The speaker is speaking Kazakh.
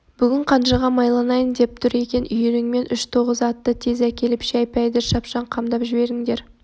бүгін қанжыға майланайын деп тұр екен үйіріңмен үш тоғыз атты тез әкеліп шай-пәйді шапшаң қамдап жіберіңдер